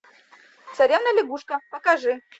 царевна лягушка покажи